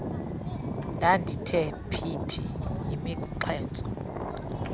ndandithe phithi yimixhentso